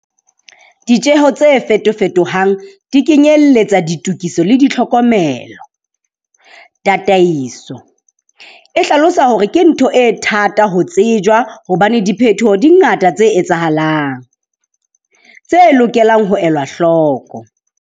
Ditjeho tse fetofetohang di kenyelletsa ditokiso le ditlhokomelo. "Tataiso" e hlalosa hore ke ntho e thata ho tsejwa hobane diphetoho di ngata tse etsahalang, tse lokelang ho elwa hloko.